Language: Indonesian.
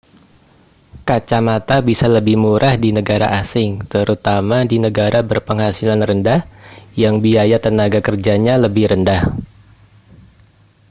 kacamata bisa lebih murah di negara asing terutama di negara berpenghasilan rendah yang biaya tenaga kerjanya lebih rendah